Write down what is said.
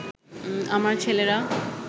আমার ছেলেরা